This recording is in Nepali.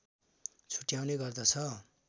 छुट्याउने गर्दछ